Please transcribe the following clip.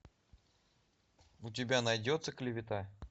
у тебя найдется клевета